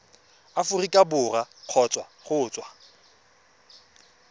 aforika borwa kgotsa go tswa